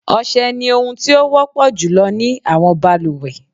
Ọ̀sẹ ni ohun tí ó wọ́pọ̀ jùlọ ní àwọn balùwẹ̀.